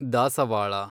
ದಾಸವಾಳ